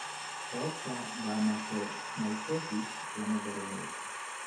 Sababta dermatomyositis lama garanayo.